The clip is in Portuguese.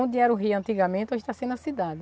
Onde era o rio antigamente, hoje está sendo a na cidade.